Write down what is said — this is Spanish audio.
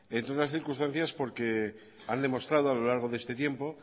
entre otras circunstancias porque han demostrado a lo largo de este tiempo